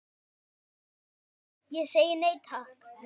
Ég segi nei, takk.